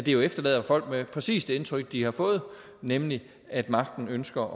jo efterlader folk med præcis det indtryk de har fået nemlig at magten ønsker